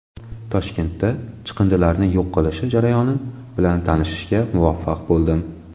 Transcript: Toshkentda chiqindilarni yo‘q qilishi jarayoni bilan tanishishga muvaffaq bo‘ldim.